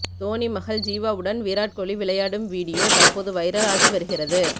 தோனி மகள் ஜிவாவுடன் விராட் கோலி விளையாடும் வீடியோ தற்போது வைரல் ஆகிவருகிறது